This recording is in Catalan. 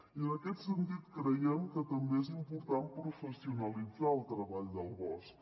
i en aquest sentit creiem que també és important professionalitzar el treball del bosc